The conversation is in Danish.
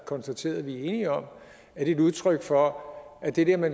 konstateret at vi er enige om et udtryk for at det der med